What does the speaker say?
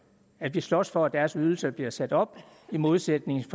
at vi slås for at deres ydelser bliver sat op i modsætning til